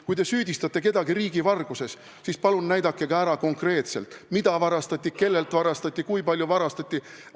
Kui te süüdistate kedagi riigivarguses, siis palun näidake ära konkreetselt, mida varastati, kellelt varastati ja kui palju varastati.